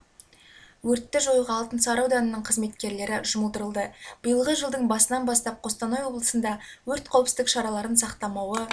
өртті жоюға алтынсары ауданының қызметкерлері жұмылдырылды биылғы жылдың басынан бастап қостанай облысында өрт қауіпсіздік шараларын сақтамауы